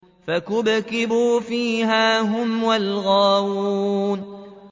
فَكُبْكِبُوا فِيهَا هُمْ وَالْغَاوُونَ